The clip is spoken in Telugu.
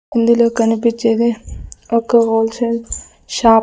ఇందులో కనిపించేది ఒక హోల్ సేల్ షాప్ .